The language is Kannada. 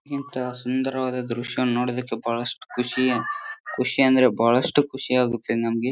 ಎಂತಾ ಸುಂದರವಾದ ದೃಶ್ಯವನ್ನು ನೋಡುವುದಕ್ಕೆ ಬಹಳಷ್ಟು ಖುಷಿ ಖುಷಿ ಎಂದರೆ ಬಹಳಷ್ಟು ಖುಷಿ ಆಗುತ್ತೆ ನಮಗೆ.